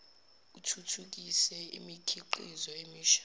uthuthukise imikhiqizo emisha